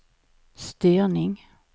styrning